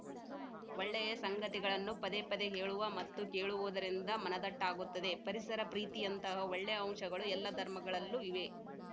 ಒಳ್ಳೆಯ ಸಂಗತಿಗಳನ್ನು ಪದೇಪದೇ ಹೇಳುವ ಮತ್ತು ಕೇಳುವುದರಿಂದ ಮನದಟ್ಟಾಗುತ್ತದೆ ಪರಿಸರ ಪ್ರೀತಿಯಂತಹ ಒಳ್ಳೆಯ ಅಂಶಗಳು ಎಲ್ಲ ಧರ್ಮಗಳಲ್ಲೂ ಇವೆ